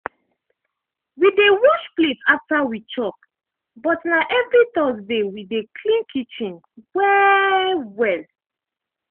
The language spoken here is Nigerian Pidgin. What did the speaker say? we dey wash plate after we chop but na evri thursday we dey clean kitchen well-well.